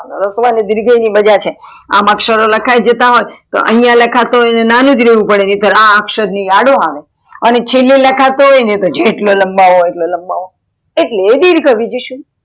રસ્વ ને દીર્ઘાય ની મજા છે આમ અક્ષર લખાય જતા હોત તો અયા લખતો હોય તો નાનોજ રેવું પડે નાકાર તો આ અક્ષર ની અડો આવે અને છેલે લખતો હોય તો જેટલો લાંબોવો હોય એટલો લંબાવો એટલે દિર્ઘ.